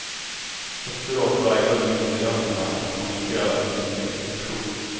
Efteråt vägrade myndigheterna att kommentera sin blixtaktion.